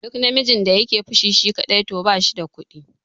Duk namijin da yake fushi shi kaɗai to bashi da kuɗi